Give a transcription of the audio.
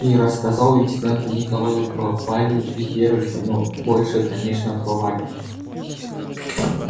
и рассказал лейтенанту николаю про валю и верочку но больше конечно про валю